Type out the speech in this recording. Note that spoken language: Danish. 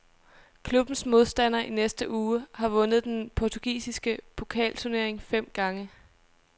Klubbens modstander i næste uge har vundet den portugisiske pokalturnering fem gange.